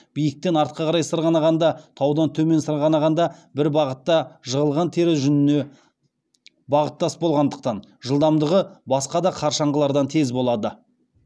биіктен артқа қарай сырғанағанда таудан төмен сырғанағанда бір бағытта жығылған тері жүніне бағыттас болғандықтан жылдамдығы басқа да қар шаңғылардан тез болады